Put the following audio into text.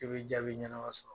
I bi jaabi ɲɛnama sɔrɔ